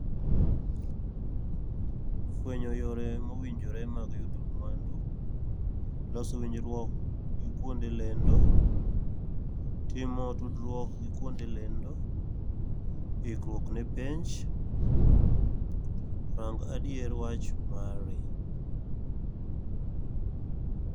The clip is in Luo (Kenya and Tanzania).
Fwenyo yore mowinjore mag yudo mwandu, loso winjruok gi kuonde lendo, timo tudruok gi kuonde lendo, ikruok ne penj, rang adier wach mari.